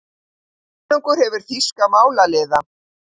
Konungur hefur þýska málaliða.